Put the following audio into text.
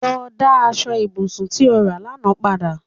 Lọ dá aṣọ ibùsùn tí o rà lánàá padà